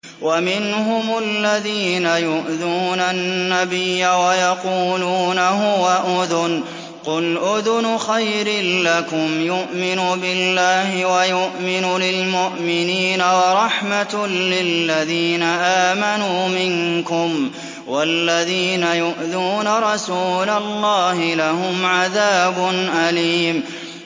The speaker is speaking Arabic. وَمِنْهُمُ الَّذِينَ يُؤْذُونَ النَّبِيَّ وَيَقُولُونَ هُوَ أُذُنٌ ۚ قُلْ أُذُنُ خَيْرٍ لَّكُمْ يُؤْمِنُ بِاللَّهِ وَيُؤْمِنُ لِلْمُؤْمِنِينَ وَرَحْمَةٌ لِّلَّذِينَ آمَنُوا مِنكُمْ ۚ وَالَّذِينَ يُؤْذُونَ رَسُولَ اللَّهِ لَهُمْ عَذَابٌ أَلِيمٌ